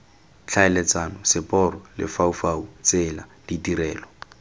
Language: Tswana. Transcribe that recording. tlhaeletsano seporo lefaufau tsela ditirelo